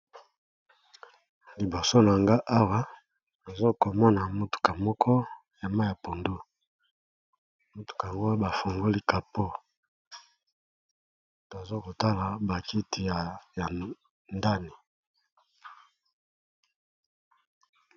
Liboso nanga awa ozo komona motuka moko ya mayi ya pundu, motuka yango ba fungoli kapo tozo kotala bakiti ya ndani.